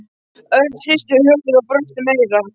Örn hristi höfuðið og brosti meira.